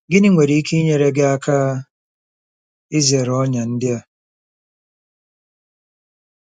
Gịnị nwere ike inyere gị aka izere ọnyà ndị a?